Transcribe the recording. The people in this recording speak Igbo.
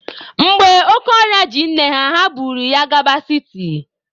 Mgbe oke ọrịa ji nne ha, ha buru ya gaba siti.